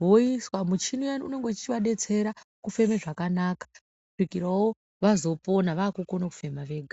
Voiswa muchini uyani unenge uchivadetsera kufema zvakanaka kusvikirawo vazopona vakukona kufema vega.